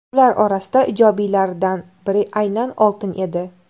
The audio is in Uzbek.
Ular orasida ijobiylaridan biri aynan oltin edi.